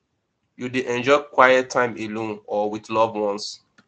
you dey enjoy quiet time alone or with loved ones